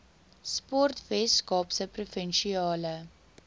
sport weskaapse provinsiale